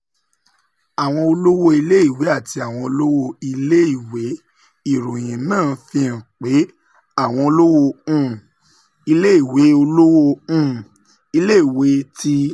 Àwọn olówó iléèwé àti àwọn olówó iléèwé: Ìròyìn náà fi hàn pé àwọn olówó um iléèwé olówó um iléèwé ti